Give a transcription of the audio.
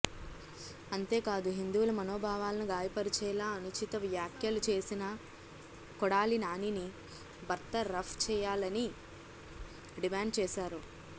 అంతేకాదు హిందువుల మనోభావాలను గాయపరిచేలా అనుచిత వ్యాఖ్యలు చేసిన కొడాలి నానీని బర్తరఫ్ చేయాలని డిమాండ్ చేశారు